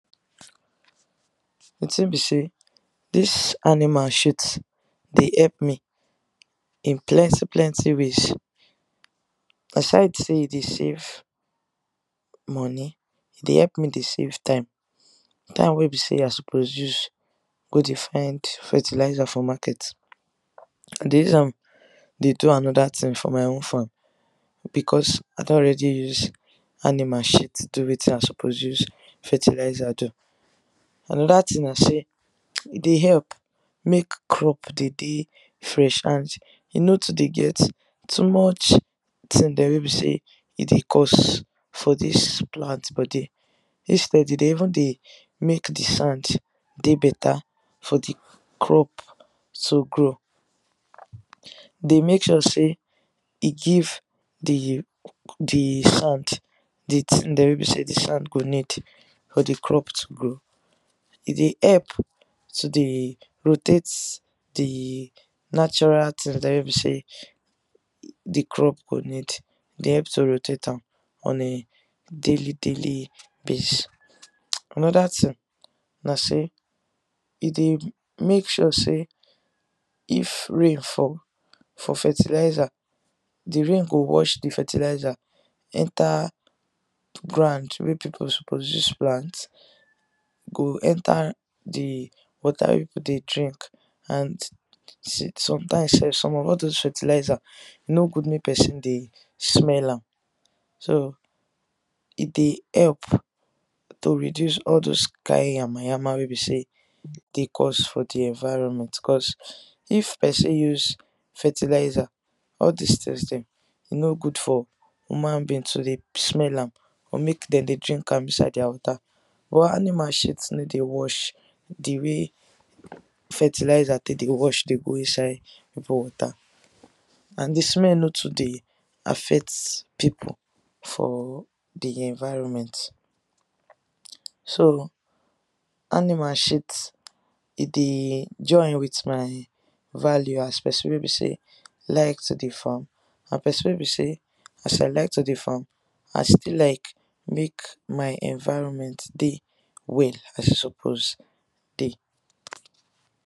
the tin be say this animal shit dey epp me in plenty plenty ways aside say e de save money, e de epp me de save time, time wey be say I suppose use go de fund fertiliser for market, I de use am de do another thing for my own farm, because I don already use animal shit do wetin I suppose use fertiliser do. Another tin na say e de help make crop de de fresh and e no too de get too much tin there wey be say e de cause for dis plant body instead e de even dey make d sand de better for d crop to grow dey make sure say e give the the sand the tin dem wey be say d sand go need for d crop to grow e de epp to de protect d natural tin dem wey be say d crop go need, e de help to rotate am on a daily daily basis another thing na say, e dey make sure say if rain fall for fertiliser d rain go wash d fertiliser enter ground wey people suppose use plant go enter d water wey people de drink and some time sef some of all those fertiliser e no good make person de smell am, so e de help to reduce all those kind yama yama wey be say de cause for d environment cause If person use fertiliser, all this thing dem e no good for human being to de smell am or make dem de drink am inside thier water, but animal shit no de wash d way fertiliser take de wash de go inside people water and d smell no too de affect people for d environment, so animal shit e de join with my value as person wey be say like to de farm and person wey be say as I de like to de farm, I still like make my environment dey well as e suppose dey.